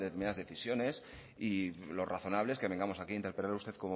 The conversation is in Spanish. adoptan determinadas decisiones y lo razonable es que vengamos aquí a interpelar usted